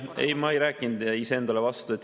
Ei, ma ei rääkinud iseendale vastu.